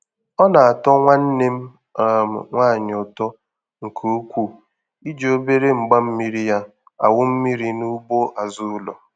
Ọ na-atọ nwanne m um nwaanyị ụtọ nke ukwuu i ji obere mgbammiri ya awụ mmiri n'ugbo azụ ụlọ.